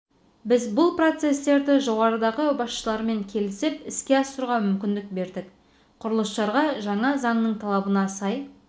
біз бұл процесстерді жоғарыдағы басшылармен келісіп іске асыруға мүмкіндік бердік құрылысшыларға жаңа заңның талабына сай